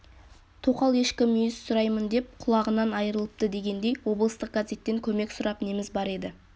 тоқал ешкі мүйіз сұраймын деп құлағынан айырылыпты дегендей облыстық газеттен көмек сұрап неміз бар еді